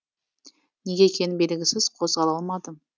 неге екені белгісіз қозғала алмадым